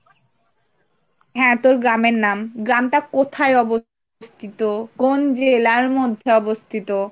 হ্যাঁ, তোর গ্রামের নাম, গ্রামটা কোথায় অবস্থিত, কোন জেলার মধ্যে অবস্থিত?